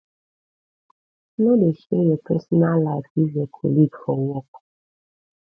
no de share your personal life give your colleague for work